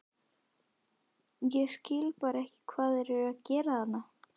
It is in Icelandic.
Ég skil bara ekki hvað þeir eru að gera þarna?